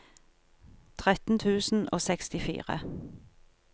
tretten tusen og sekstifire